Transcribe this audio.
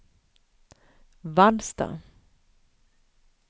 Vallsta